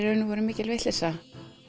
mikil vitleysa